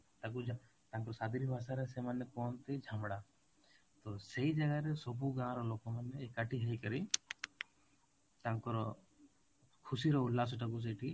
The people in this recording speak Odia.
ତାକୁ ତାକୁ ରେ ଭାଷାରେ ସେମାନେ କୁହନ୍ତି ଝାମଡା ତୋ ସେଇ ଜାଗାରେ ସବୁ ଗାଁ ର ଲୋକମାନେ ଏକାଠି ହେଇକରି ତାଙ୍କର ଖୁସିର ଉଲ୍ଲାସଟାକୁ ସେଇଠି